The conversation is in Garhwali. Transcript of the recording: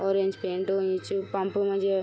ऑरेंज पेंट हुयुं च पंप मा जे।